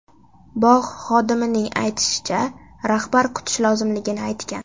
Bog‘ xodimining aytishicha, rahbar kutish lozimligini aytgan.